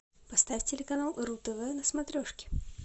поставь телеканал ру тв на смотрешке